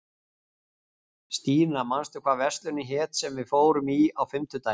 Stína, manstu hvað verslunin hét sem við fórum í á fimmtudaginn?